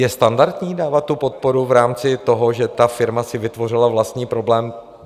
Je standardní dávat tu podporu v rámci toho, že ta firma si vytvořila vlastní problémy?